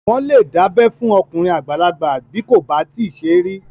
Wọ́n lè dábẹ́ fún okùnrin àgbàlagbà bí kò bá tíì ṣe rí